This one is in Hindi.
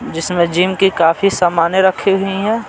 जिसमें जिम की काफी सामानें रखी हुई हैं।